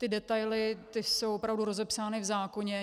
Ty detaily jsou opravdu rozepsány v zákoně.